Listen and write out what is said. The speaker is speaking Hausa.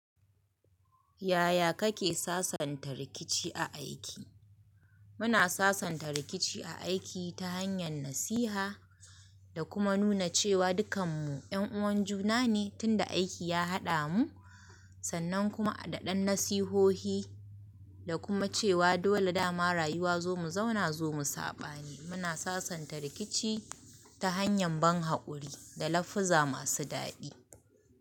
Yaya kake sasanta rikici a aiki? Muna sasanta rikici a aiki ta hanyar nasiha, da kuma nuna cewa dukanmu 'yan uwan juna ne tunda aiki ya haɗa mu, sannan kuma a daɗe nasihohi, da kuma cewa dole da ma rayuwa zo mu zauna zo mu saɓa ne. Muna sasanta rikici ta hanyar ban haƙuri da lafuza masu daɗi.